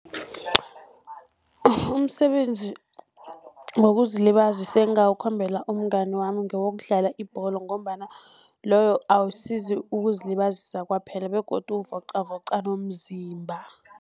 Umsebenzi wokuzilibazisa engingawukhombela umngani wami ngewokudlala ibholo, ngombana loyo awusizi ukuzilibazisa kwaphela begodu uvocavoca nomzimba.